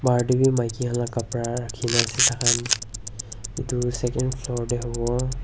bahar te bhi maiki khan laga khapra rakhi kena ase taikhan etu second floor te hobo.